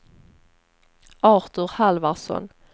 Artur Halvarsson